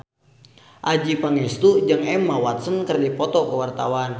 Adjie Pangestu jeung Emma Watson keur dipoto ku wartawan